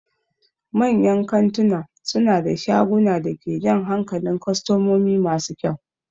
Manyan kantuna suna da shagunan da ke jan hankalin kwastomomi masu kyau.